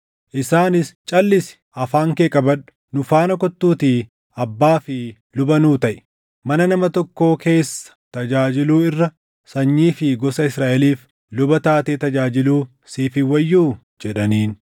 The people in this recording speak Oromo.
Isaanis, “Calʼisi! Afaan kee qabadhu; nu faana kottuutii abbaa fi luba nuu taʼi. Mana nama tokkoo keessa tajaajiluu irra sanyii fi gosa Israaʼeliif luba taatee tajaajiluu siif hin wayyuu?” jedhaniin.